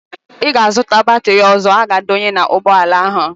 Ị ga-azụta batịrị ọzọ a ga-adọnye n'ụgbọala ahụ!